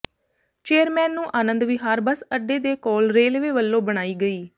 chairman ਨੂੰ Anand Vihar bus ਅੱਡੇ ਦੇ ਕੋਲ ਰੇਲਵੇ ਵੱਲੋਂ ਬਣਾਈ ਗਈ